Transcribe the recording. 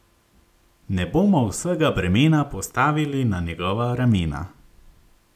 Ne bomo vsega bremena postavili na njegova ramena.